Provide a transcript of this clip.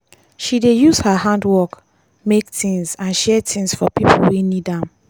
she dey use her handwork make things and share things for pipo wey need am.